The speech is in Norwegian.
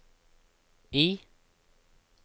I